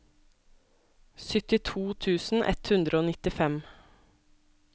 syttito tusen ett hundre og nittifem